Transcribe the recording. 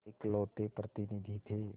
इकलौते प्रतिनिधि थे